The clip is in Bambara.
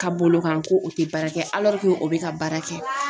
Ka bolo kan ko o tɛ baara kɛ o bɛ ka baara kɛ